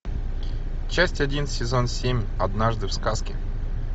часть один сезон семь однажды в сказке